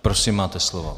Prosím, máte slovo.